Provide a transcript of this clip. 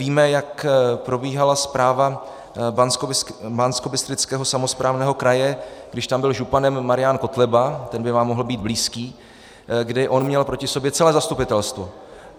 Víme, jak probíhala správa Banskobystrického samosprávného kraje, když tam byl županem Marian Kotleba, ten by vám mohl být blízký, kdy on měl proti sobě celé zastupitelstvo.